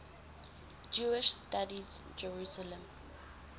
jewish studies jerusalem